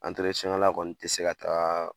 kɛla kɔni ti se ka taa